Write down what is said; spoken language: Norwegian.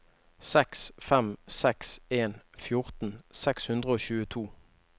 seks fem seks en fjorten seks hundre og tjueto